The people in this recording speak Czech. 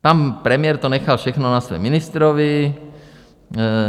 Pan premiér to nechal všechno na svém ministrovi.